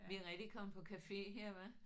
Vi er rigtig kommet på cafe her hva